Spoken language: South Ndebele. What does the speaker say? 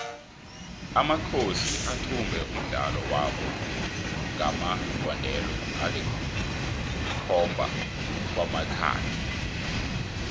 amakhosi athumbe umdlalo wabo ngamagondelo alikhomaba kwamathathu